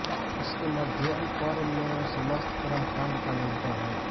इसके मध्यमपर्व में समस्त कर्मकाण्ड का निरूपण है